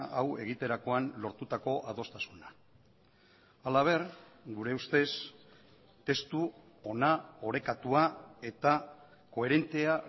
hau egiterakoan lortutako adostasuna halaber gure ustez testu ona orekatua eta koherentea